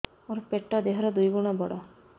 ମୋର ପେଟ ଦେହ ର ଦୁଇ ଗୁଣ ବଡ